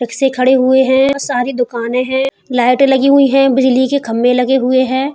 रिक्शे खड़े हुए हैं। बहोत सारी दुकानें हैं। लाइटें लगी हुई हैं। बिजली के खम्बे लगे हुए हैं।